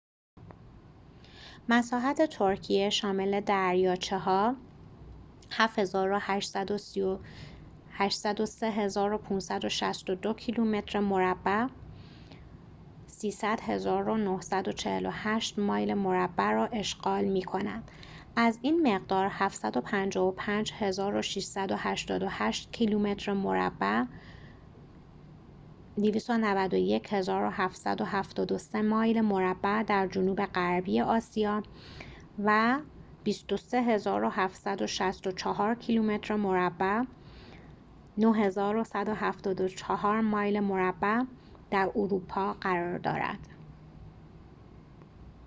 مساحت ترکیه، شامل دریاچه ها، 783562 کیلومتر مربع 300948 مایل مربع را اشغال می کند، از این مقدار، 755688 کیلومتر مربع 291773 مایل مربع در جنوب غربی آسیا و 23764 کیلومتر مربع 9174 مایل مربع در اروپا قرار دارد